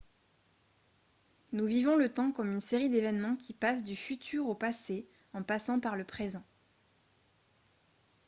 nous vivons le temps comme une série d'événements qui passent du futur au passé en passant par le présent